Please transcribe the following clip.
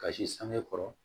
Kasi sange kɔrɔ